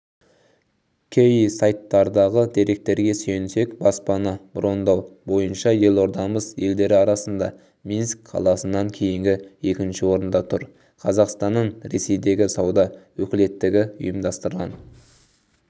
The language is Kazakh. кей сайттардағы деректерге сүйенсек баспана брондау бойынша елордамыз елдері арасында минск қаласынан кейінгі екінші орында тұр қазақстанның ресейдегі сауда өкілеттігі ұйымдастырған